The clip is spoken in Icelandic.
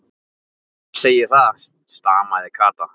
Mamma segir það, stamaði Kata.